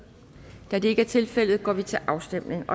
da det ikke er tilfældet går vi til afstemning